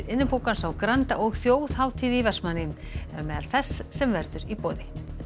Innipúkans á Granda og þjóðhátíð í Vestmannaeyjum er á meðal þess sem verður í boði